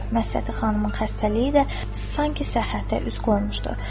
Məsədi xanımın xəstəliyi də sanki səhhətə üz qoymuşdu.